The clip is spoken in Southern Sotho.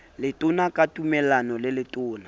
letona ka tumellano le letona